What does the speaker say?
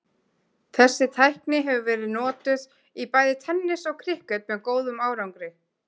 Þessi tækni hefur verið notuð í bæði tennis og krikket með góðum árangri.